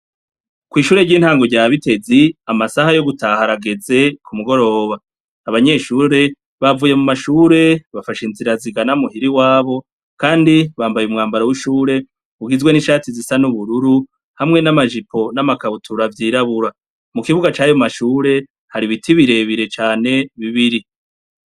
Kw'ishure ry'intango rya bitezi amasaha yo gutaharageze ku mugoroba abanyeshure bavuye mu mashure bafasha inzira zigana muhiri wabo, kandi bambaye umwambaro w'ishure ugizwe n'inshati zisa n'ubururu hamwe n'amajipo n'amakabutura avyirabura mu kibuga cayo mu mashure hari ibiti birebire cane ne bibiri.